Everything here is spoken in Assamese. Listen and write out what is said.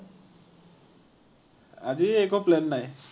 আজি একো plan নাই.